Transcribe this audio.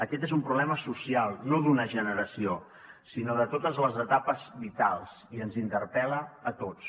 aquest és un problema social no d’una generació sinó de totes les etapes vitals i ens interpel·la a tots